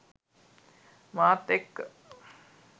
මාත් එක්ක